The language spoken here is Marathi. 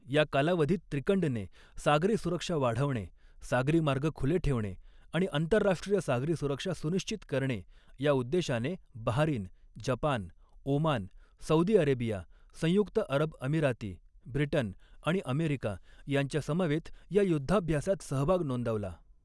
या कालावधीत, त्रिकंडने, सागरी सुरक्षा वाढवणे, सागरी मार्ग खुले ठेवणे आणि आंतरराष्ट्रीय सागरी सुरक्षा सुनिश्चित करणे या उद्देशाने Bahrain, Japan, Oman, Saudi Arabia, संयुक्त अऱब अमिराती, ब्रिटन आणि अमेरिका यांच्यासमवेत या युद्धाभ्यासात सहभाग नोंदवला.